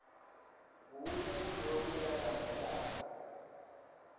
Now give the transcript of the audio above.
kunye kuloku landzelako